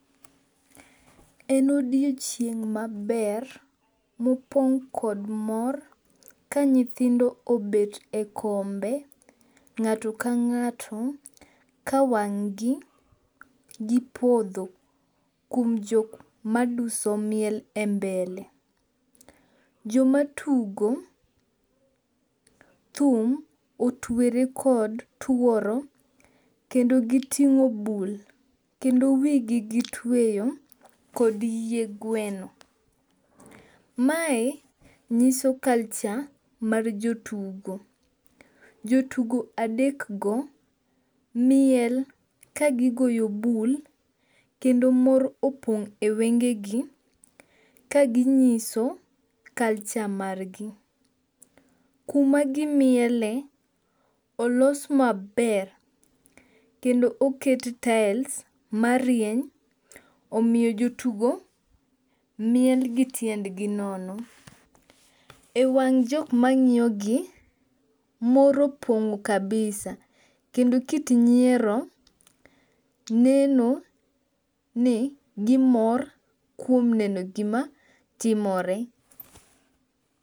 En odiochieng' maber mopong' kod mor ka nyithindo obet e kombe ng'ato ka ng'ato ka wang'gi dhi podho kuom jok maduso miel e mbele. Joma tugo thum otwere kod tuoro kendo giting'o bul kendo wi gi gitweyo kod yie gweno. Mae nyiso culture mar jo tugo. Jotugo adek go miel kagigoyo bul kendo mor opong' e wenge gi kaginyiso culture mar gi. Kuma gimiele olos maber kendo oket tiles marieny omiyo jotugo miel gi tiend gi nono. E wang' jok ma ng'iyo gi, mor opong' kabisa kendo kit nyiero neno ni gimor kuom neno gima timore.